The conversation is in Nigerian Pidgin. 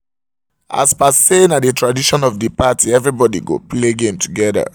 as par par say na the tradition of the of the party everybody go play game together